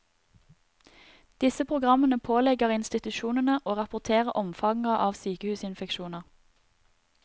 Disse programmene pålegger institusjonene å rapportere omfanget av sykehusinfeksjoner.